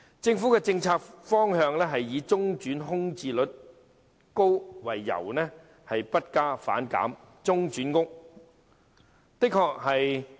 政府的政策方向是以中轉房屋空置率高為由，不加反減。